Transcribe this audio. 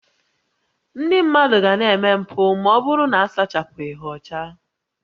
Ndị mmadụ ga na-eme mpụ ma ọ bụrụ na a sachapụghị ha ọcha